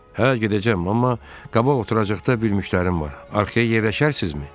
Hə, gedəcəm, amma qabaq oturacaqda bir müştərim var, arxaya yerləşərsinizmi?